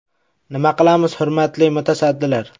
Nima qilamiz, hurmatli mutasaddilar?